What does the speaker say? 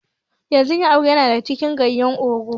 Yanzun yan arewa na cin ganyen ogu